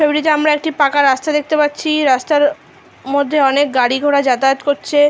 ছবিটিতে আমরা একটি পাকা রাস্তা দেখতে পাচ্ছি রাস্তার মধ্যে অনেক গাড়ি ঘোড়া যাতায়াত করছে।